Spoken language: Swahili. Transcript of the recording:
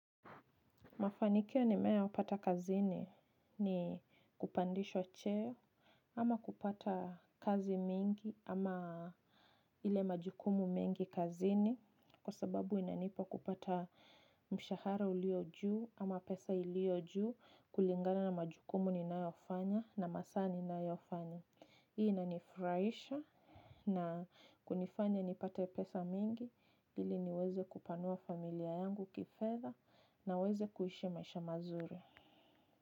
Mafanikio nimewahi pata kazini ni kupandishwa cheo ama kupata kazi mingi ama ile majukumu mengi kazini kwa sababu inanipa kupata mshahara ulio juu ama pesa ilio juu kulingana na majukumu ninayofanya na masaa ninayofanya. Hii ina ni furahisha na kunifanya nipate pesa mingi ili niweze kupanua familia yangu kifedha na weze kuishi maisha mazuri.